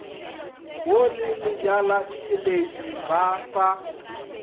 wo le lebjaletšweledi ba sa